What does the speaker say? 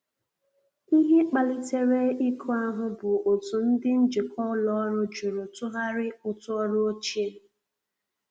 Ihe kpalitere iku ahu bụ otụ ndi njikwa ụlọ ọrụ jụrụ tughari ụtụ ọrụ ochie.